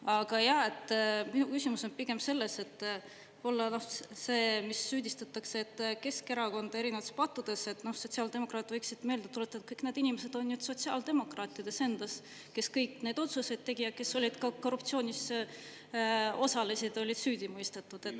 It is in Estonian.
Aga minu küsimus on selles, et süüdistatakse Keskerakonda erinevates pattudes, ent pigem sotsiaaldemokraadid võiks meelde tuletada, et kõik need inimesed on nüüd sotsiaaldemokraatide enda seas, kes kõik need otsused tegid, kes korruptsioonis osalesid, olid süüdi mõistetud.